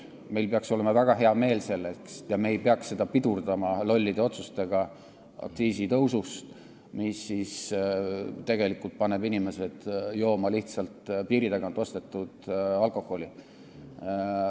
Meil peaks olema selle üle väga hea meel ja me ei peaks seda pidurdama lollide otsustega aktsiisitõusu kohta, mis tegelikult panevad inimesed jooma lihtsalt piiri tagant ostetud alkoholi.